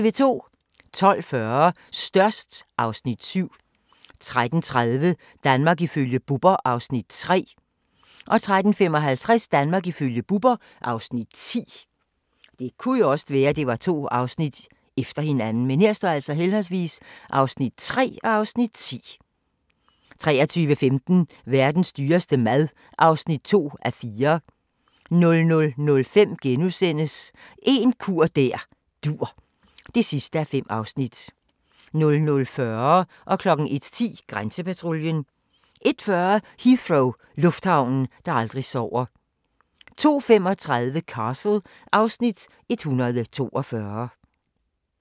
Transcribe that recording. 12:40: Størst (Afs. 7) 13:30: Danmark ifølge Bubber (Afs. 3) 13:55: Danmark ifølge Bubber (Afs. 10) 23:15: Verdens dyreste mad (2:4) 00:05: En kur der dur (5:5)* 00:40: Grænsepatruljen 01:10: Grænsepatruljen 01:40: Heathrow - lufthavnen, der aldrig sover 02:35: Castle (Afs. 142)